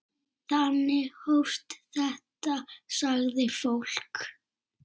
Þannig hófst þetta, sagði fólk.